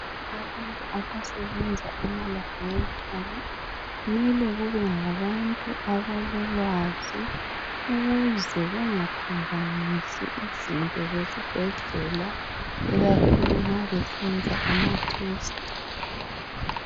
Abantu abasebenza emalabhorethi mele kube ngabantu abalolwazi ukuze bengaphambanisi izinto zesibhedlela ikakhulu nxa besenza ama"test".